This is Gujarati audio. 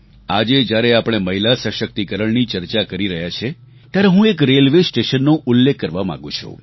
આજે જ્યારે આપણે મહિલા સશક્તિકરણની ચર્ચા કરી રહ્યા છીએ ત્યારે હું એક રેલવે સ્ટેશનનો ઉલ્લેખ કરવા માગું છું